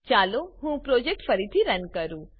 ચાલો હું પ્રોજેક્ટ ફરીથી રન કરું